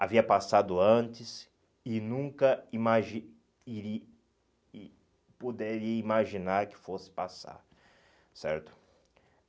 Havia passado antes e nunca imagi iri e poderia imaginar que fosse passar, certo?